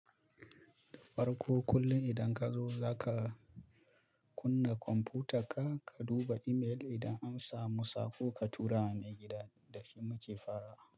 Farko kullum idan kazo zaka kunna kwamfutar ka, ka duba imel idan an samu saƙo ka tura wa mai gida da shi muke farawa.